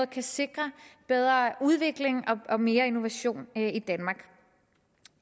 kan sikre bedre udvikling og mere innovation i danmark